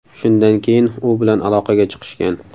Shundan keyin u bilan aloqaga chiqishgan.